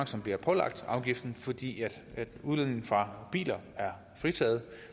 som bliver pålagt afgiften fordi udledningen fra biler er fritaget